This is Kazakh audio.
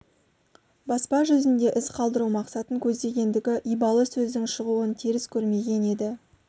баспа жүзінде із қалдыру мақсатын көздегендігі ибалы сөздің шығуын теріс көрмеген еді